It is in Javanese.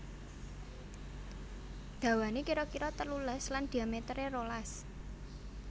Dawané kira kira telulas lan dhiamétéré rolas